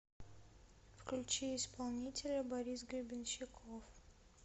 включи исполнителя борис гребенщиков